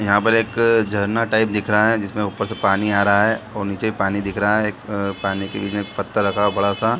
यहाँ पर एक झरना टाइप दिख रहे हैं जिसमें ऊपर से पानी आ रहा है और नीचे पानी दिख रहा है पानी के बीच में एक पत्थर रखा हुआ है बड़ा सा।